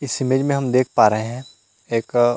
इस इमेज में हम देख पा रहे हैं एक --